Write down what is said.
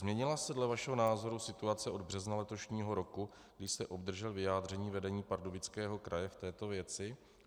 Změnila se dle vašeho názoru situace od března letošního roku, kdy jste obdržel vyjádření vedení Pardubického kraje v této věci?